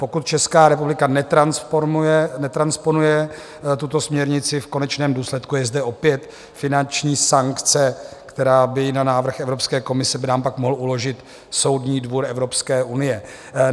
Pokud Česká republika netransponuje tuto směrnici, v konečném důsledku je zde opět finanční sankce, kterou by na návrh Evropské komise by nám pak mohl uložit Soudní dvůr Evropské unie.